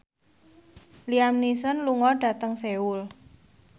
Liam Neeson lunga dhateng Seoul